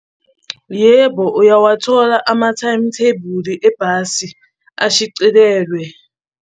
Yebo, uyawathola ama-timetable ebhasi ashicilelwe.